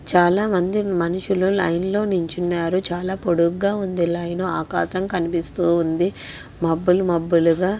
చాలామంది మనుషులు లైన్లో నిల్చున్నారు. చాలా పొడుగ్గా ఉంది లైన్ .ఆకాశం కనిపిస్తుంది. మబ్బులు మబ్బులుగా--